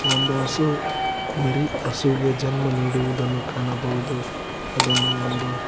ಒಂದು ಹಸು ಮರಿ ಹಸುವಿಗೆ ಜನ್ಮ ನೀಡುವುದನ್ನು ಕಾಣಬಹುದು ಅದನ್ನು ಒಂದು--